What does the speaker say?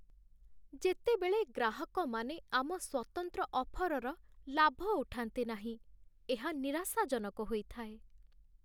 ଯେତେବେଳେ ଗ୍ରାହକମାନେ ଆମ ସ୍ୱତନ୍ତ୍ର ଅଫର୍‌ର ଲାଭ ଉଠାନ୍ତି ନାହିଁ, ଏହା ନିରାଶାଜନକ ହୋଇଥାଏ।